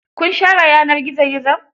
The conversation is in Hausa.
Kun share yanar gizo gizon?